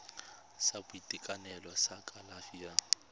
sa boitekanelo sa kalafi ya